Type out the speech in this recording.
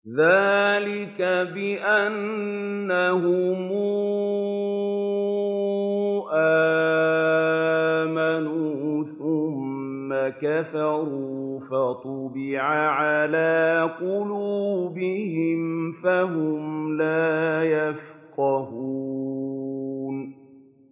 ذَٰلِكَ بِأَنَّهُمْ آمَنُوا ثُمَّ كَفَرُوا فَطُبِعَ عَلَىٰ قُلُوبِهِمْ فَهُمْ لَا يَفْقَهُونَ